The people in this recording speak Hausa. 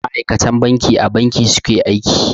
Ma'akatan banki a Banki su ke aiki.